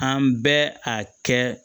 An bɛ a kɛ